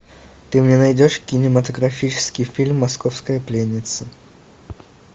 ты мне найдешь кинематографический фильм московская пленница